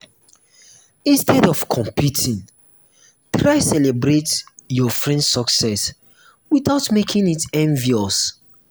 instead of competing try celebrate your friend’s success without making it obvious.